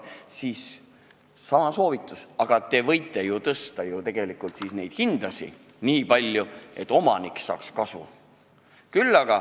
Siinkohal sama soovitus: te võite ju tõsta hinda nii palju, et omanik saaks kasu.